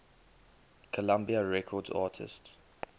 columbia records artists